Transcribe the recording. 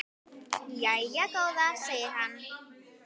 Jæja góða, segir hann.